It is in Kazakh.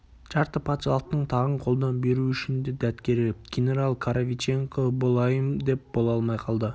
жарты патшалықтың тағын қолдан беру үшін де дәт керек генерал коровиченко болайын деп бола алмай қалды